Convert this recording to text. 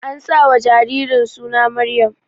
An sa wa jaririn suna Maryam